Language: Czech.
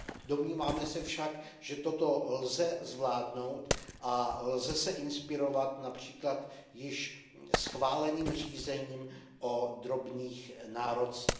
Domníváme se však, že toto lze zvládnout a lze se inspirovat například již schváleným řízením o drobných nárocích.